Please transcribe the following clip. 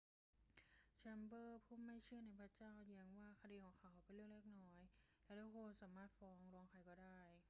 แชมเบอรส์ผู้ไม่เชื่อในพระเจ้าแย้งว่าคดีของของเขาเป็น เรื่องเล็กน้อย และ ทุกคนสามารถฟ้องร้องใครก็ได้